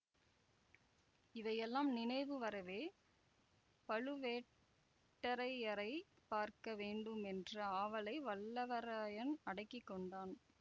இவையெல்லாம் நினைவு வரவே பழுவேட்டரையரை பார்க்க வேண்டும் என்ற ஆவலை வல்லவரையான் அடக்கி கொண்டான்